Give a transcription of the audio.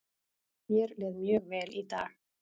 Mér leið mjög vel í dag.